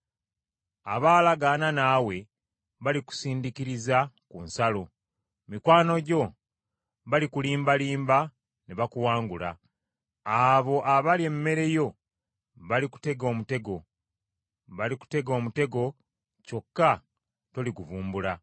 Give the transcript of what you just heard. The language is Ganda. Abaalagaana naawe balikusindiikiriza ku nsalo, Mikwano gyo balikulimbalimba ne bakuwangula; abo abalya emmere yo balikutega omutego, balikutega omutego kyokka toliguvumbula.